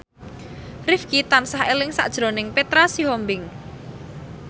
Rifqi tansah eling sakjroning Petra Sihombing